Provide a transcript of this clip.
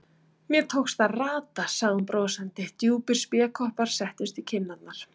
Mér tókst að rata, sagði hún brosandi, djúpir spékoppar settust í kinnarnar.